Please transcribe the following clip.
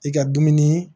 I ka dumuni